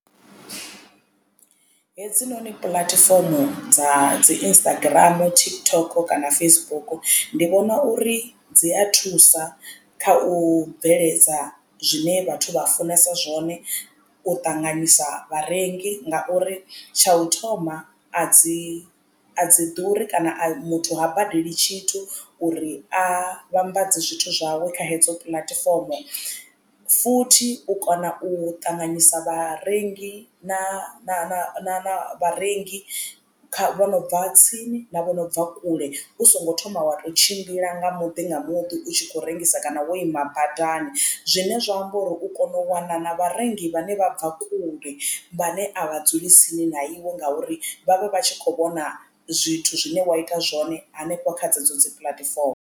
Hedzinoni puḽatifomo dza dzi Instagram, TikTok kana Facebook ndi vhona uri dzi a thusa kha u bveledza zwine vhathu vha funesa zwone u ṱanganyisa vharengi ngauri tsha u thoma a dzi a dzi ḓuri kana a muthu ha badeli tshithu uri a vhambadze zwithu zwawe kha hedzo puḽatifomo. Futhi u kona u ṱanganyisa vharengi na vharengi kha vho no bva tsini na vho no bva kule u songo thoma wa tou tshimbila nga muḓi nga muḓi u tshi khou rengisa kana wo ima badani zwine zwa amba uri u kona u wana na vharengi vhane vha bva kule vhane a vha dzuli tsini na iwe ngauri vhavha vha tshi khou vhona zwithu zwine wa ita zwone hanefho kha dzedzo dzi puḽatifomo.